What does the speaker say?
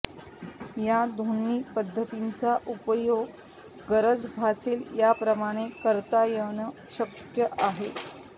या दोन्ही पद्धतींचा उपयोग गरज भासेल त्याप्रमाणेही करता येणं शक्य आहे